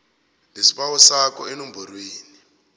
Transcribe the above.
lesibawo sakho enomborweni